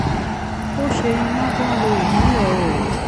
ó ṣe iná tó ń lo ìmọ́lè oòrùn